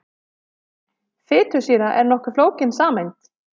Fitusýra er nokkuð flókin sameind.